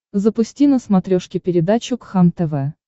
запусти на смотрешке передачу кхлм тв